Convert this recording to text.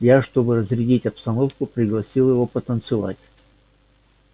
я чтобы разрядить обстановку пригласила его потанцевать